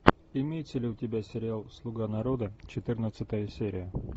имеется ли у тебя сериал слуга народа четырнадцатая серия